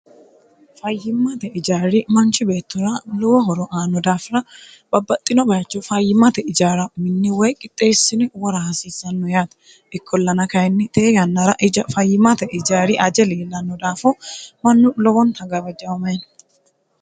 fayyimmate ijaari manchi beettora lowo horo aanno daafira babbaxxino bayicho fayyimate ijaara minne woy qixxeessine wora haasiissanno yaati ikkollana kayinni tee yannara fayyimate ijari ajeliillanno daafo mannu lowonta gawajaamayino